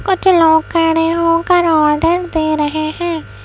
कुछ लोग खड़े होकर ऑर्डर दे रहे हैं।